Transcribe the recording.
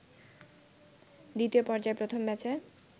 দ্বিতীয় পর্যায়ে প্রথম ব্যাচে